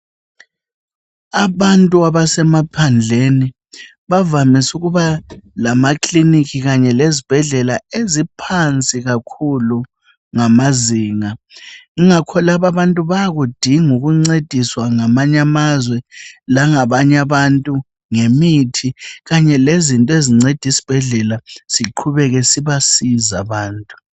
Abantu abasemaphandleni bavamise ukuba lamaclinic lezibhedlela eziphansi kakhulu ngamazinga. Ingakho lababantu bayakudinga ukuncediswa ngamanye amazwe, langabanye abantu ngemithi kanye lezinye izinto ezinceda usibhedlela siqhubeke sibasiza abantu,